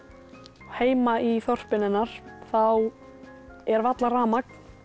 heima í þorpinu hennar er varla rafmagn